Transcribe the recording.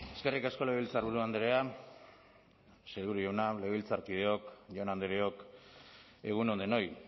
eskerrik asko legebiltzarburu andrea sailburu jauna legebiltzarkideok jaun andreok egun on denoi